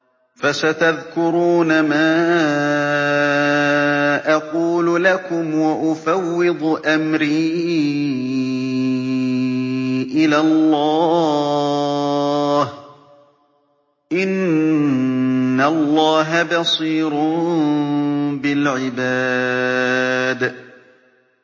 فَسَتَذْكُرُونَ مَا أَقُولُ لَكُمْ ۚ وَأُفَوِّضُ أَمْرِي إِلَى اللَّهِ ۚ إِنَّ اللَّهَ بَصِيرٌ بِالْعِبَادِ